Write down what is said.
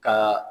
Ka